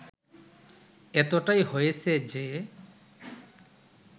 এতটাই হয়েছে যে